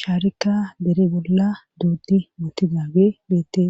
sharika bere bolla duuddi mootidage beettees